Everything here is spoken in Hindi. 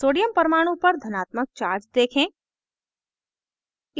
sodium परमाणु पर धनात्मक charge देखें